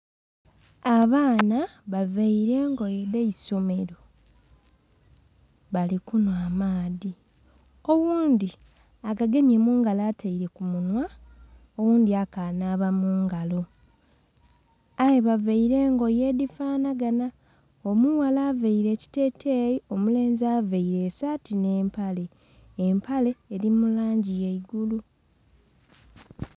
Abaana bavaire engoye edhaisomero bali kunhwa maadhi oghundhi agagemye mungalo atere kumunhwa oghundhi akanhaba mungalo aye bavaire engoye edhifanhaganha omughala avaire ekiteteyi, omulenzi avaire esaati n'empale, empale eri mulangi yaigulu.